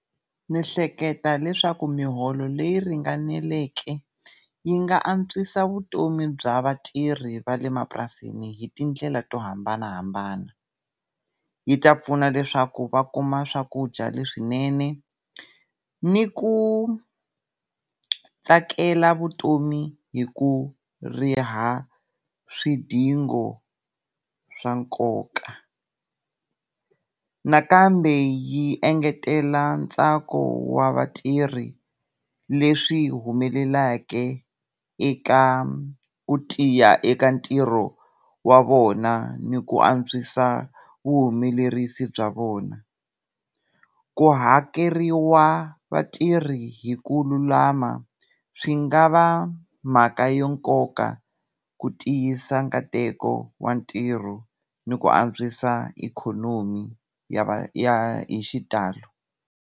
Ndzi hleketa leswaku miholo leyi ringaneleke yi nga antswisa vutomi bya vatirhi vale mapurasini hi tindlela to hambanahambana. Yi ta pfuna leswaku va kuma swakudya leswinene ni ku tsakela vutomi hi ku riha swidingo swa nkoka. Nakambe yi engetela ntsako wa vatirhi leswi humelelaka eka ku tiya eka ntirho wa vona ni ku antswisa vuhumelerisi bya vona. Ku hakeriwa vatirhi hi ku lulama swi nga va mhaka yo nkoka ku tiyisa nkateko wa ntirho ni ku antswisa ikhonomi ya va ya hi xitalo.